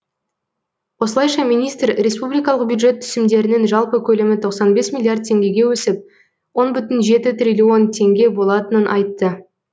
осылайша министр республикалық бюджет түсімдерінің жалпы көлемі тоқсан бес миллиард теңгеге өсіп он бүтін жеті триллион теңге болатынын айтты